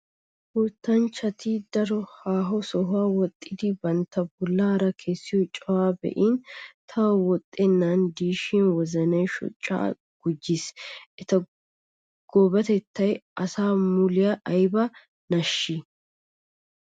Wottanchchatti daro haaho sohuwa woxxiddi bantta bollara kessiyo cawaa be'in tawu woxxenan de'ishin wozanay shochcha gujees! Etta goobatettay asa muliya aybba nashissi!